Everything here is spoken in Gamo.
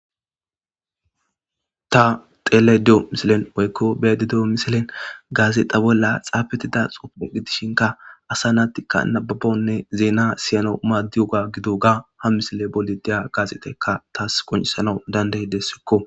ta tele de7o misilen oykko bedi deo misilen gaazexa bolla xaafetida xufuu gidishinka asa naattikka nababonne zeena siyano maaddiyoga gido ga ha misile bolideya gaaseteka taas koncisana dandey dessikko